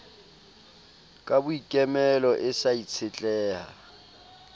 ka boikemelo e sa itshetleha